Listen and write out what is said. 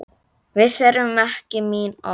Við þurfum ekki mín orð.